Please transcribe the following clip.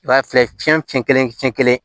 I b'a filɛ cɛncɛn kelen